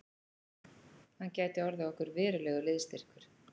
Hann gæti orðið okkur verulegur liðsstyrkur